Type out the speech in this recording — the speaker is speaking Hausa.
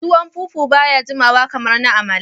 Tuwon fufu baya jimawa kamar na amala.